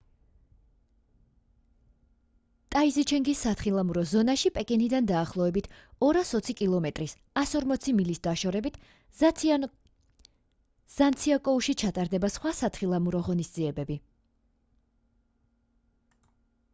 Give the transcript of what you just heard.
ტაიზიჩენგის სათხილამურო ზონაში პეკინიდან დაახლოებით 220 კმ-ის 140 მილი დაშორებით ჟანციაკოუში ჩატარდება სხვა სათხილამურო ღონისძიებები